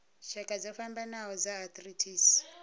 tshakha dzo fhambanaho dza arthritis